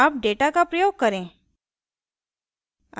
अब data का प्रयोग करें